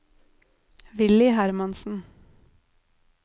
Villy Hermansen